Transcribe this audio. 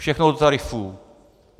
Všechno do tarifů.